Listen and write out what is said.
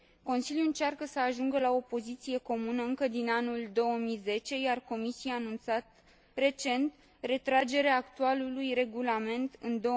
Consiliul încearcă să ajungă la o poziție comună încă din anul 2010, iar Comisia a anunțat recent retragerea actualului regulament în